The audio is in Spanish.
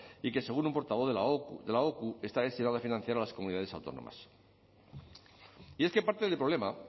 y que según un portavoz de la ocu está destinado a financiar a las comunidades autónomas y es que parte del problema